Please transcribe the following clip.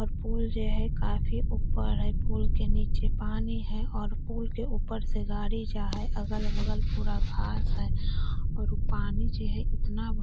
आर पुल जे है काफी ऊप्पर है पुल के नीचे पानी है और पुल के ऊप्पर से गाड़ी जाए है अगल-बगल पूरा घास है और उ पानी जे है इतना --